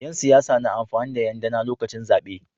Yan siyasa na amfani da Yan DAna lokacin zabe